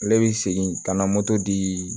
Ale bi segin ka na moto dii